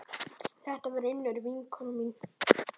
Þetta var Unnur vinkona mín.